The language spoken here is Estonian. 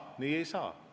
Nii poliitikas ei saa.